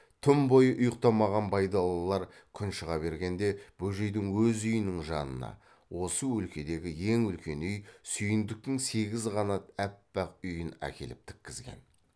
түн бойы ұйықтамаған байдалылар күн шыға бергенде бөжейдің өз үйінің жанына осы өлкедегі ең үлкен үй сүйіндіктің сегіз қанат аппақ үйін әкеліп тіккізген